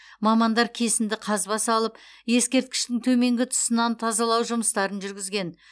мамандар кесінді қазба салып ескерткіштің төменгі тұсынан тазалау жұмыстарын жүргізген